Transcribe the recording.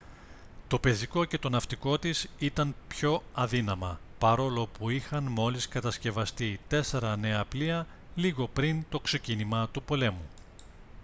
το πεζικό και το ναυτικό της ήταν πιο αδύναμα παρόλο που είχαν μόλις κατασκευαστεί τέσσερα νέα πλοία λίγο πριν το ξεκίνημα του πολέμου